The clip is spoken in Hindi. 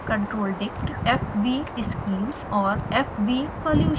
controldict fvschemes और fvsolutions